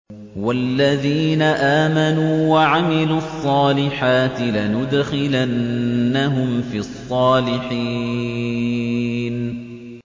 وَالَّذِينَ آمَنُوا وَعَمِلُوا الصَّالِحَاتِ لَنُدْخِلَنَّهُمْ فِي الصَّالِحِينَ